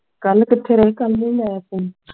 ਕੱਲ ਕਿਥੇ ਰਹੇ ਕੱਲ ਨਹੀਂ ਲਾਇਆ phone